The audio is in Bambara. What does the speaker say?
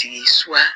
Tigi suwa